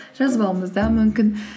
жазбауымыз да мүмкін